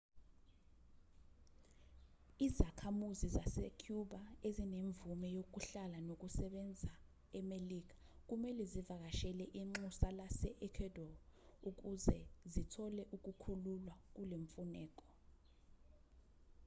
izakhamuzi zasecuba ezinemvume yokuhlala nokusebenza emelika kumelwe zivakashele inxusa lase-ecuadore ukuze zithole ukukhululwa kulemfuneko